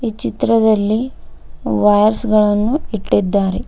ಈ ಚಿತ್ರದಲ್ಲಿ ವಾಯರ್ಸ್ ಗಳನ್ನು ಇಟ್ಟಿದ್ದಾರೆ.